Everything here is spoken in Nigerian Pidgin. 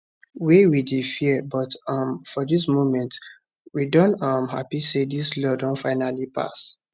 wey we dey fear but um for dis moment we don um happy say dis law don finally pass